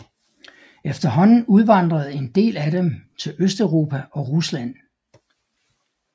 Efterhånden udvandrede en del af dem til Østeuropa og Rusland